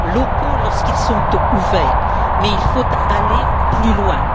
locaux lorsqu'ils sont ouverts mais il faut aller plus loin.